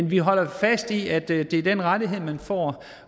vi holder fast i at det er den rettighed man får